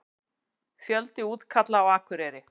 Fjöldi útkalla á Akureyri